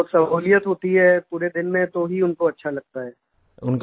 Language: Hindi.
उनको सहूलियत होती है पूरे दिन में तो ही उनको अच्छा लगता है